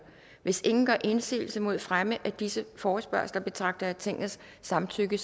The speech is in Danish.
hvis ingen gør indsigelse mod fremme af disse forespørgsler betragter jeg tingets samtykke